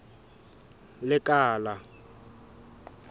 lekala